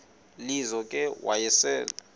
lizo ke wayesel